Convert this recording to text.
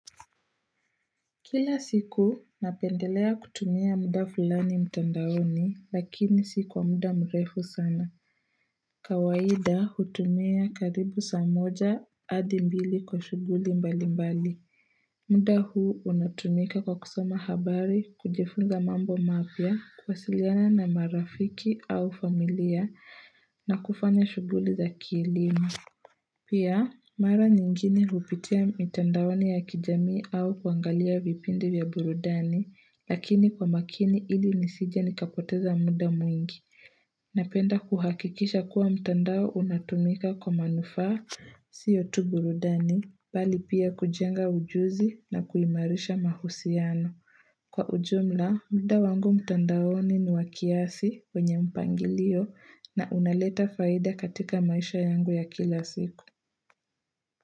Kila siku napendelea kutumia muda fulani mtandaoni lakini si kwa muda mrefu sana. Kawaida hutumia karibu saa moja adi mbili kwa shuguli mbali mbali. Muda huu unatumika kwa kusoma habari kujifunza mambo mapya kuwasiliana na marafiki au familia na kufanya shuguli za kielimu. Pia, mara nyingine hupitia mitandaoni ya kijamii au kuangalia vipindi vya burudani, lakini kwa makini ili nisije nikapoteza muda mwingi. Napenda kuhakikisha kuwa mtandaonunatumika kwa manufaa siyo tu burudani, bali pia kujenga ujuzi na kuimarisha mahusiano. Kwa ujumla, mda wangu mtandaoni ni wa kiasi wenye mpangilio na unaleta faida katika maisha yangu ya kila siku.